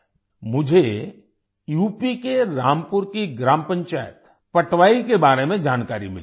मुझे यूपी के रामपुर की ग्राम पंचायत पटवाई के बारे में जानकारी मिली है